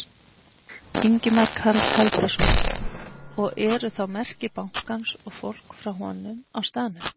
Ingimar Karl Helgason: Og eru þá merki bankans og fólk frá honum á staðnum?